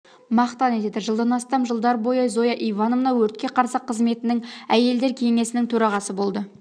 мақтан етеді жылдан астам жыолдар бойы зоя ивановна өртке қарсы қызметінің әелдер кеңесінің төрағасы болды